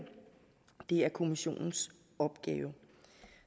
det er kommissionens opgave